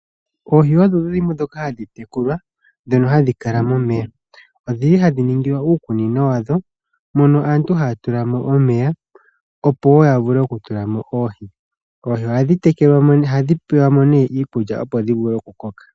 Oohi odhi dhimwe dhoka hadhi tekulwa, dhono hadhi kala momeya. Odhi li hadhi ningilwa uukunino wadho mono aantu haya tula mo omeya opo wo ya vule okutula mo oohi. Oohi ohadhi pelwa mo nee iikulya opo dhi vule okukoka.